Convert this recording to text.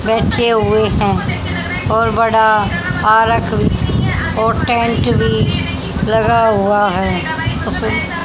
बैठे हुए हैं और बड़ा आरख और टेंट भी लगा हुआ है उस--